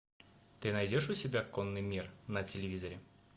ты найдешь у себя конный мир на телевизоре